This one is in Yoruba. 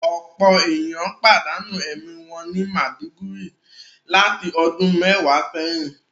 Ọpọ eniyan padanu ẹmi wọn ni Maiduguri lati ọdun mẹwa sẹyin